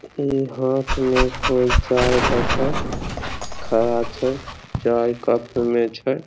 ई हाथ में कोय चाय लेके खड़ा छै चाय कप मे छै।